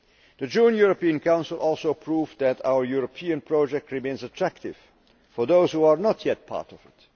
The June European Council also proved that our European project remains attractive for those who are not yet part of it.